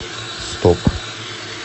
стоп